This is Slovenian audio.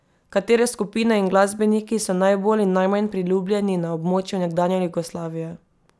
Katere skupine in glasbeniki so najbolj in najmanj priljubljeni na območju nekdanje Jugoslavije?